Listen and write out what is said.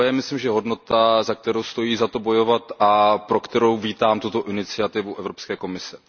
To je, myslím, hodnota, za kterou stojí za to bojovat a pro kterou vítám tuto iniciativu Evropské komise.